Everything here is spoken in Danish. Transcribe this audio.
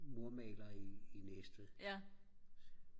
murmalere i Næstved